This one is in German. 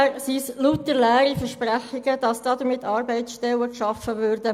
Bisher sind es lediglich leere Versprechungen, dass damit Arbeitsstellen geschaffen würden.